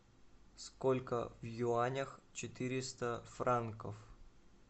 сколько в юанях четыреста франков